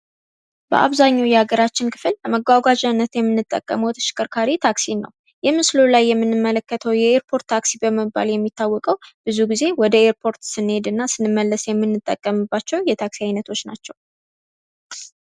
በአብዛኛው የሀገራችን ክፍል ለመጓጓዣነት የምንጠቀመው ተሽከርካሪ ታክሲ ነው ። ይህ ምስሉ ላይ የምንመለከተው የኤርፖርት ታክሲ በመባል የሚታወቀው ብዙ ጊዜ ወደ ኤርፖርት ስንሄድና ስንመለስ የምንጠቀምባቸው የታክሲ አይነቶች ናቸው።